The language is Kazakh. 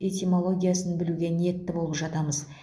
этимологиясын білуге ниетті болып жатамыз